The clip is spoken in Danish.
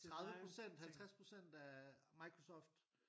30 procent 50 procent af Microsoft